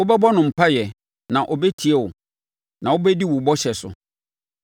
Wobɛbɔ no mpaeɛ, na ɔbɛtie wo, na wobɛdi wo bɔhyɛ so.